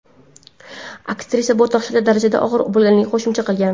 Aktrisa bu dahshatli darajada og‘ir bo‘lganini qo‘shimcha qilgan.